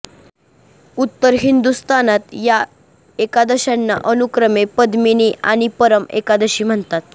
उत्तर हिंदुस्थानात या एकादश्यांना अनुक्रमे पद्मिनी आणि परम एकादशी म्हणतात